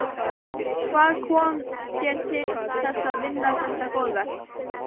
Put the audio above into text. Hvað kom þér til þess að vinna þetta góða verk?